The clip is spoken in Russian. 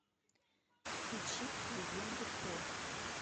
включи легенду про